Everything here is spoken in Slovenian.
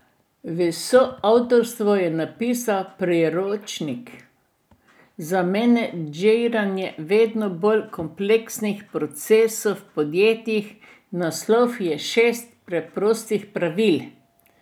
V soavtorstvu je napisal priročnik za menedžeriranje vedno bolj kompleksnih procesov v podjetjih, naslov je Šest preprostih pravil.